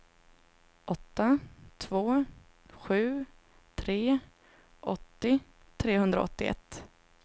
åtta två sju tre åttio trehundraåttioett